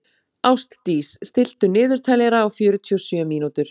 Ástdís, stilltu niðurteljara á fjörutíu og sjö mínútur.